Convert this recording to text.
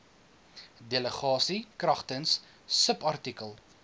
delegasie kragtens subartikel